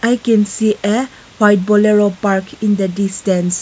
i can see a white bolero park in the distance.